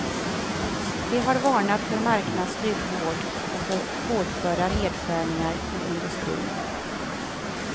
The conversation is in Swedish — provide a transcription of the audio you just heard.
Vi har varnat för marknadsstyrd vård och för hårdföra nedskärningar i industrin.